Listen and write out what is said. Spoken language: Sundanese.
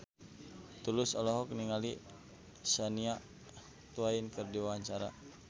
Tulus olohok ningali Shania Twain keur diwawancara